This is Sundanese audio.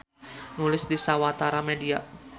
Nulis di sawatara media.